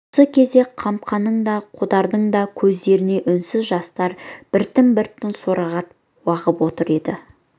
осы кезде қамқаның да қодардың да көздерінен үнсіз жастар біртін-біртін сорағытып ағып отыр еді